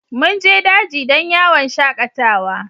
Mun je daji don yawon shakatawa.